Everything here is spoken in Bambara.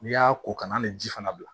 N'i y'a ko kana ni ji fana bila